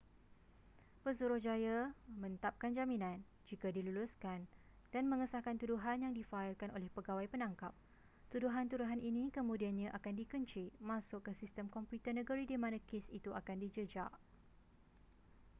pesuruhjaya mentapkan jaminan jika diluluskan dan mengesahkan tuduhan yang difaikan oleh pegawai penangkap tuduhan-tuduhan ini kemudiannya akan dikenci masuk ke sistem komputer negeri di mana kes itu akan dijejak